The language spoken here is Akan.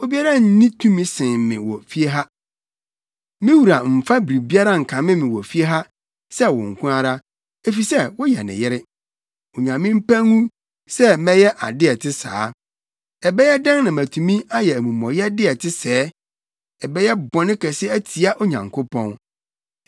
Obiara nni tumi nsen me wɔ fie ha. Me wura mfa biribiara nkame me wɔ fie ha sɛ wo nko ara, efisɛ woyɛ ne yere. Onyame mpa ngu sɛ mɛyɛ ade a ɛte saa. Ɛbɛyɛ dɛn na matumi ayɛ amumɔyɛde a ɛte sɛɛ! Ɛbɛyɛ bɔne kɛse atia Onyankopɔn.”